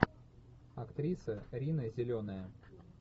актриса рина зеленая